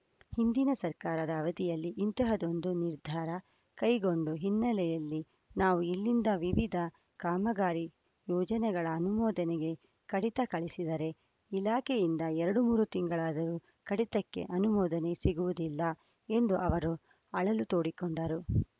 ಹಿಂದಿನ ಸರ್ಕಾರದ ಅವಧಿಯಲ್ಲಿ ಇಂತಹದೊಂದು ನಿರ್ಧಾರ ಕೈಗೊಂಡ ಹಿನ್ನೆಲೆಯಲ್ಲಿ ನಾವು ಇಲ್ಲಿಂದ ವಿವಿಧ ಕಾಮಗಾರಿ ಯೋಜನೆಗಳ ಅನುಮೋದನೆಗೆ ಕಡಿತ ಕಳಿಸಿದರೆ ಇಲಾಖೆಯಿಂದ ಎರಡು ಮೂರು ತಿಂಗಳಾದರೂ ಕಡತಕ್ಕೆ ಅನುಮೋದನೆ ಸಿಗುವುದಿಲ್ಲ ಎಂದು ಅವರು ಅಳಲು ತೋಡಿಕೊಂಡರು